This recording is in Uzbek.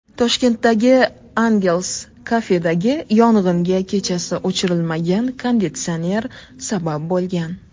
Toshkentdagi Angel’s Cafe’dagi yong‘inga kechasi o‘chirilmagan konditsioner sabab bo‘lgan .